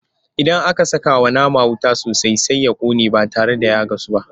Idan aka sakawa nama wuta sosai Sai ya ƙone ba tare da ya gasu ba.